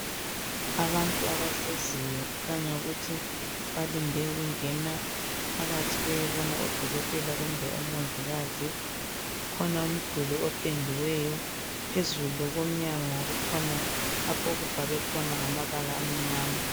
Abantu abahleziyo, kukhanya ukuthi balinde ukungena phakathi beyebona odokotela, kumbe omongikazi. Kukhona umduli opendiweyo. Phezulu kukhona lapho okubhalwe khona ngamabala amnyama.